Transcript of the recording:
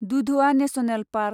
Dudhwa national park